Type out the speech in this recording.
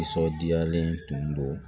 Nisɔndiyalen tun don